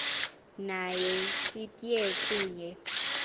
naye sitye kunye